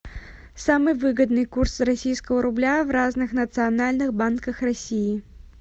самый выгодный курс российского рубля в разных национальных банках россии